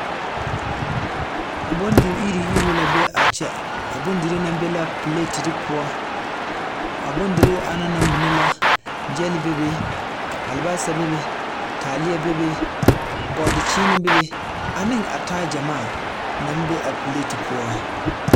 Bondi iri-eruu eruu la be kyɛ, a bondirii na be na piletili poɔ, a bondirii ana na mine la, gyɛl be be, albasa be be, taaleɛ be be, bɔɔdekyeene be be ane a taa gyɛmaa naŋ be a pileti poɔ. 13423